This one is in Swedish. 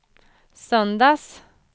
söndags